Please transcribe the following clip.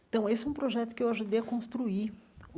Então, esse é um projeto que eu ajudei a construir.